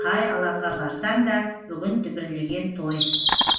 қай алаңға барсаң да бүгін дүбірлеген той